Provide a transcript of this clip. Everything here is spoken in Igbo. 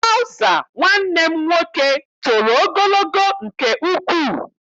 Traụza nwanne m nwoke toro ogologo nke ukwuu.